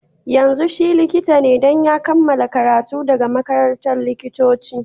Yanzun shi Likita ne, dan ya kamala karatu daga makarantan likitoci.